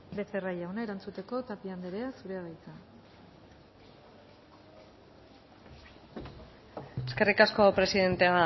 becerra jauna erantzuteko tapia anderea zurea da hitza eskerrik asko presidente